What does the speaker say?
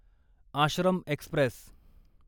Ashram Express